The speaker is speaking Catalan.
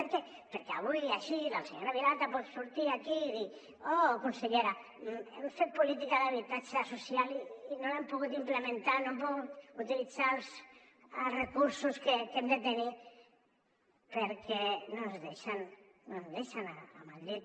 per què perquè avui així la senyora vilalta pot sortir aquí i dir oh consellera hem fet política d’habitatge social i no l’hem pogut implementar no hem pogut utilitzar els recursos que hem de tenir perquè no ens deixen a madrid